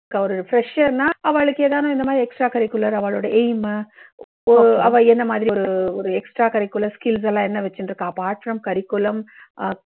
ஒரு fresher னா ஆவாளுக்கு ஏதானு இந்த மாதிரி extra curricular ஆவாளோட aim மு, அவா என்ன மாதிரி ஒரு ஒரு extra curricular skills செல்லாம் என்ன வெச்சுண்டு இருக்கா apart from curriculum ஆஹ்